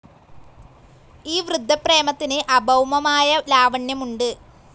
ഈ വൃദ്ധപ്രേമത്തിന് അഭൗമമായ ലാവണ്യമുണ്ട്.